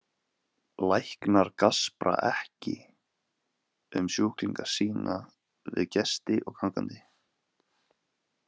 Læknar gaspra ekki um sjúklinga sína við gesti og gangandi.